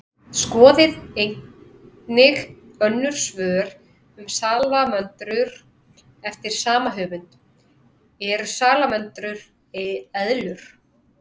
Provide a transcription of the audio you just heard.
Skoðið einnig önnur svör um salamöndrur eftir sama höfund: Eru salamöndrur eðlur?